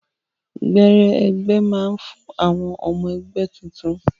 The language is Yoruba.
Gbẹrẹ ẹgbẹ máa n fún àwọn ọmọ ẹgbẹ tuntun.